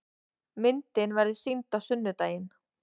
Myndin verður sýnd á sunnudaginn.